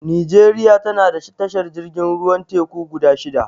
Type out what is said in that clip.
Nijeriya tana da tashar jirgin ruwan teku guda shida